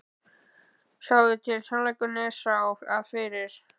Sjáiði til, sannleikurinn er sá, að fyrir